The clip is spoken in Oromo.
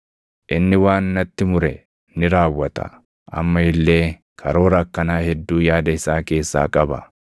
Inni waan natti mure ni raawwata; amma illee karoora akkanaa hedduu yaada isaa keessaa qaba.